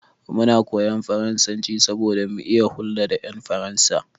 Muna koyan faransanci saboda mu iya hulɗa da ƴan Faransa.